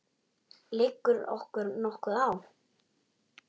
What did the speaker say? Liggur okkur nokkuð á?